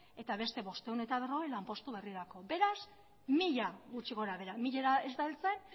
eta beste bostehun eta berrogei lanpostu berrirako beraz mila gutxi gorabehera milara ez da heltzen